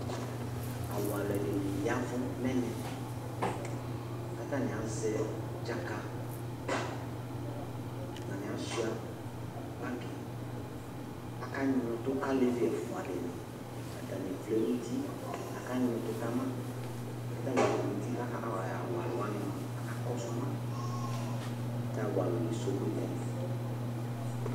Awu alʋɛdìní yavu nʋ ɛmɛ kʋ atani azɛ tsaka Atani asʋia bagi Aka nyʋɛ ʋtu kʋ alevi ɛfʋa dìní Atani vlɛ nʋ ʋti kʋ aka nyʋɛ ʋtu kama Kʋ atani vlɛ nʋ ʋti kʋ awʋ aluwa kakɔsuma Kʋ awu alu ni esɔgbe nu ɛmɛ